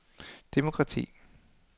demokrati